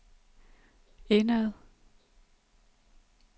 indad